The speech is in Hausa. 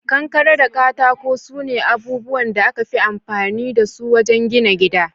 Kankare da katako sune abubuwan da aka fi amfani dasu wajen gina gida.